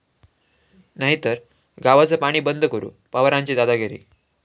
...नाहीतर गावचं पाणी बंद करू, पवारांची दादागिरी